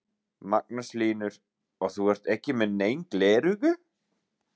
Magnús Hlynur: Og þú ert ekki með nein gleraugu?